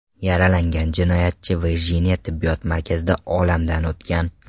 Yaralangan jinoyatchi Virjiniya tibbiy markazida olamdan o‘tgan.